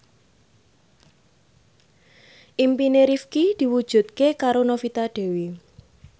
impine Rifqi diwujudke karo Novita Dewi